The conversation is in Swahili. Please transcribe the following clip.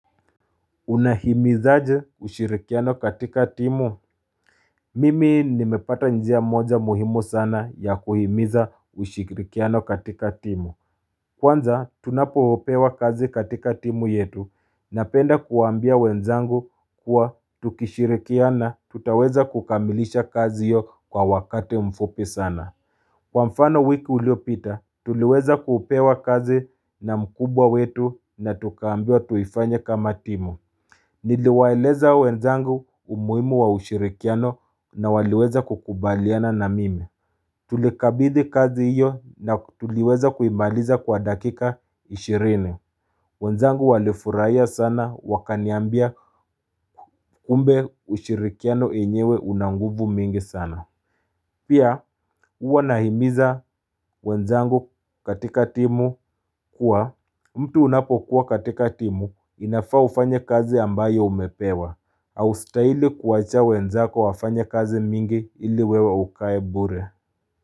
Unahimizaje ushirikiano katika timu Mimi nimepata njia moja muhimu sana ya kuhimiza ushirikiano katika timu Kwanza tunapopewa kazi katika timu yetu Napenda kuwambia wenzangu kuwa tukishirikiana tutaweza kukamilisha kazi hiyo kwa wakati mfupi sana Kwa mfano wiki iliopita, tuliweza kupewa kazi na mkubwa wetu na tukaambiwa tuifanya kama timu Niliwaeleza wenzangu umuhimu wa ushirikiano na waliweza kukubaliana na mimi Tulikabidhi kazi hiyo na tuliweza kuimaliza kwa dakika 20 wenzangu walifurahia sana wakaniambia kumbe ushirikiano enyewe unanguvu mingi sana Pia huwa nahimiza wenzangu katika timu kuwa mtu unapokuwa katika timu inafaa ufanye kazi ambayo umepewa haustahili kuwacha wenzako wafanya kazi mingi ili wewe ukae bure.